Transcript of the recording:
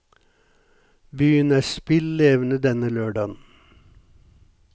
Byen er spill levende denne lørdagen.